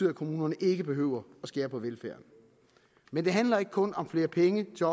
at kommunerne ikke behøver at skære på velfærden men det handler ikke kun om flere penge til